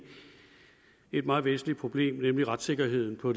et meget væsentligt problem nemlig retssikkerheden på